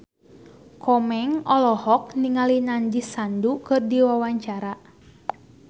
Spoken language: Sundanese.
Komeng olohok ningali Nandish Sandhu keur diwawancara